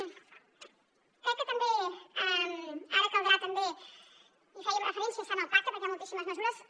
crec que ara caldrà també hi fèiem referència està en el pacte perquè hi ha moltíssimes mesures